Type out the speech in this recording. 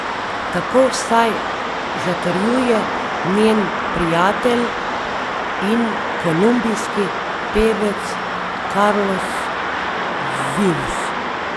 Tako vsaj zatrjuje njen prijatelj in kolumbijski pevec Carlos Vives.